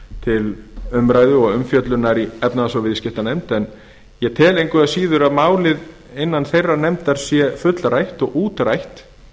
til umræðu og umfjöllunar í efnahags og viðskiptanefnd en ég tel engu að síður að málið sé fullrætt og útrætt innan þeirrar nefndar ég tel að